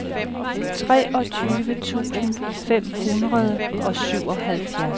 treogtyve tusind fem hundrede og syvoghalvfjerds